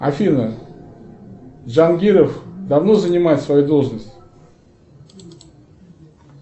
афина джангиров давно занимает свою должность